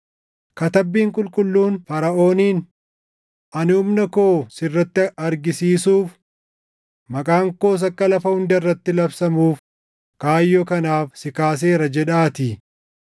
Katabbiin qulqulluun Faraʼooniin, “Ani humna koo sirratti argisiisuuf, maqaan koos akka lafa hunda irratti labsamuuf kaayyoo kanaaf si kaaseera” + 9:17 \+xt Bau 9:16\+xt* jedhaatii.